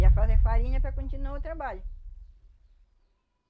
Ia fazer farinha para continuar o trabalho.